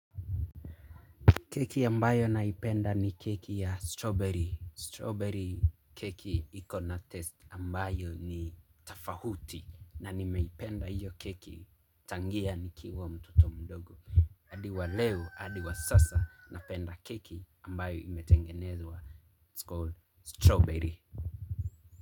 Keki ambayo naipenda ni keki ya strawberry. Strawberry keki ikona test ambayo ni tafahuti. Na nimeipenda hiyo keki tangia ni kiwa mtoto mdogo. Adiwa leo, adiwa sasa na penda keki ambayo imetengenezwa. It's called strawberry.